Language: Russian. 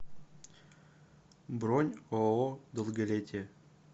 бронь ооо долголетие